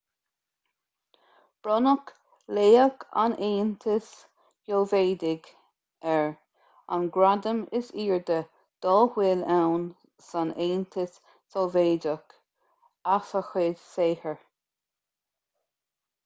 bronnadh laoch an aontais shóivéadaigh air an gradam is airde dá bhfuil ann san aontas sóivéadach as a chuid saothair